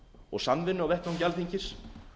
og samvinnu á vettvangi alþingis